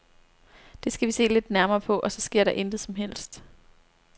Det skal vi se lidt nærmere på, og så sker der intet som helst.